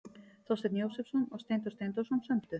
Þorsteinn Jósepsson og Steindór Steindórsson sömdu.